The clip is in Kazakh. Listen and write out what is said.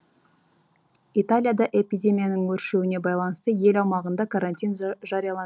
италияда эпидемияның өршуіне байланысты ел аумағында карантин жарияланды